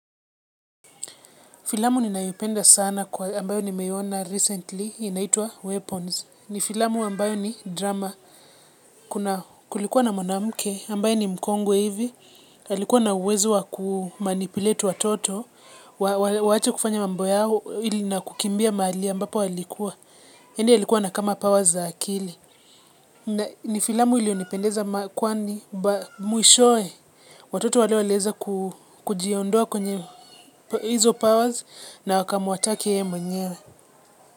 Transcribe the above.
Filamu ni nayopenda sana kwa ambayo ni meiona recently, inaitwa Weapons. Ni filamu ambayo ni drama. Kuna kulikuwa na mwanamke, ambaye ni mkongwe hivi. Alikuwa na uwezo wa kumanipulate watoto. Waache kufanya mambo yao, ili na kukimbia mahali ambapo walikuwa. Yaani alikuwa na kama powers za akili. Ni filamu ili yonipendeza kwa ni mwishowe. Watoto wale walieza kujiondoa kwenye hizo powers na wakamuattak yeye mwenyewe.